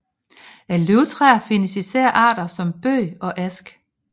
Af løvtræer findes især arter som bøg og ask